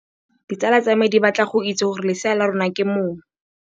Ditsala tsa me di batla go itse gore lesea la rona ke mong.